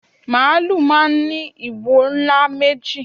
Màálù máà ń ní ìwo ńlá méjì